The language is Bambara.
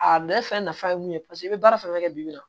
A bɛ fɛn nafa ye mun ye paseke i bɛ baara fɛn fɛn kɛ bi bi in na